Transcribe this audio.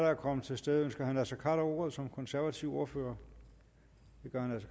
er kommet til stede ønsker herre naser khader ordet som konservativ ordfører det gør